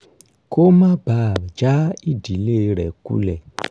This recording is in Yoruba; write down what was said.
kó má bàa já ìdílé rẹ̀ kulẹ̀